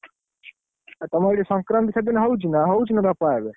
ଆଉ ତମର ସେଠି ସଂକ୍ରାନ୍ତି ସେଦିନ ହଉଛି ନା ହଉଛି ନା ଆଡେ?